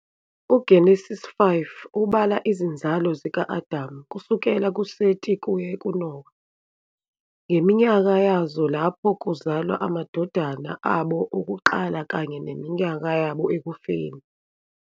UGenesise 5 ubala izinzalo zika-Adamu kusukela kuSeti kuye kuNowa ngeminyaka yazo lapho kuzalwa amadodana abo okuqala kanye neminyaka yabo ekufeni.